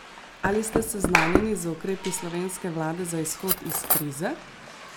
Ali ste seznanjeni z ukrepi slovenske vlade za izhod iz krize?